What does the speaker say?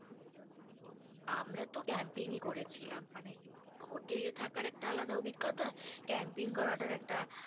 আমরা তো camping ই করেছিলাম। মানে hotel এ থাকার একটা আলাদা অভিজ্ঞতা camping করাটার একটা